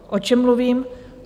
O čem mluvím?